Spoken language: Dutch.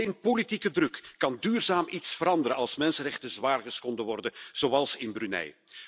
Alleen politieke druk kan duurzaam iets veranderen als mensenrechten zwaar geschonden worden, zoals in Brunei.